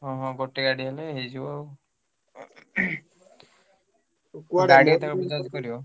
ହଁ ହଁ ଗୋଟେ ଗାଡି ହେଲେ ହେଇଯିବ ଆଉ ଗାଡି ତମେ ବୁଝାବୁଝି କରିବ?